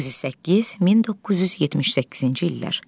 1908-1978-ci illər.